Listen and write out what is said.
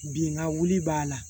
Bi n ka wuli b'a la